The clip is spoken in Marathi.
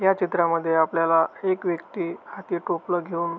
या चित्रामध्ये आपल्याला एक व्यक्ति हाती टोपल घेऊन--